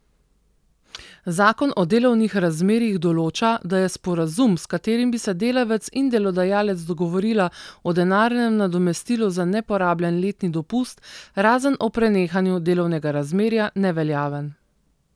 Zakon o delovnih razmerjih določa, da je sporazum, s katerim bi se delavec in delodajalec dogovorila o denarnem nadomestilu za neporabljen letni dopust, razen ob prenehanju delovnega razmerja, neveljaven.